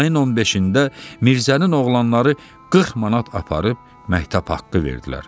Ayın 15-də Mirzənin oğlanları 40 manat aparıb məktəb haqqı verdilər.